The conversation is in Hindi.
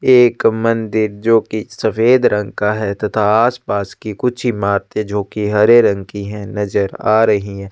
एक मंदिर जो कि सफ़ेद रंग का है तथा आसपास की कुछ इमारते जो कि हरे रंग की है नज़र आ रही है।